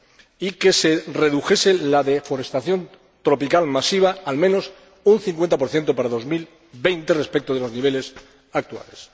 y que se redujese la deforestación tropical masiva, al menos un 50 para 2020, respecto de los niveles actuales.